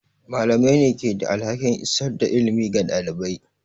Malamai ne ke da alhakin isar da ilimi ga ɗalibai.